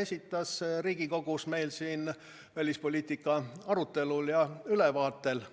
esitas siin Riigikogus välispoliitikast ülevaadet tehes.